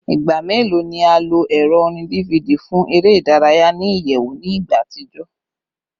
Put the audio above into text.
Igba melo ni a lo ẹrọ orin DVD fun ere idaraya ni iyẹwu ni igba atijọ?